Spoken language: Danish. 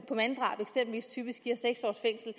i typisk giver seks års fængsel